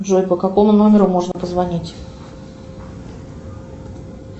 джой по какому номеру можно позвонить